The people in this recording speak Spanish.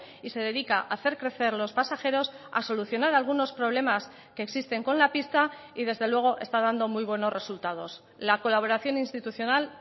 y se dedica a hacer crecer los pasajeros a solucionar algunos problemas que existen con la pista y desde luego está dando muy buenos resultados la colaboración institucional